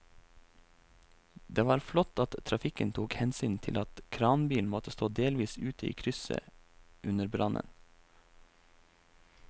Det var flott at trafikken tok hensyn til at kranbilen måtte stå delvis ute i krysset under brannen.